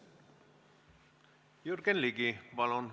Jürgen Ligi, palun!